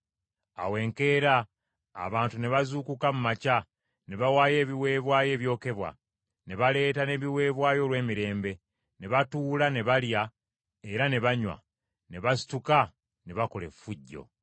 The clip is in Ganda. Awo enkeera, abantu ne bazuukuka mu makya, ne bawaayo ebiweebwayo ebyokebwa, ne baleeta n’ebiweebwayo olw’emirembe; ne batuula ne balya era ne banywa, ne basituka ne bakola effujjo.